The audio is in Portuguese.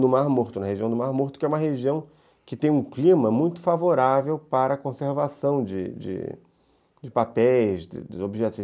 no Mar Morto, na região do Mar Morto, que é uma região que tem um clima muito favorável para a conservação de de de papéis, de objetos.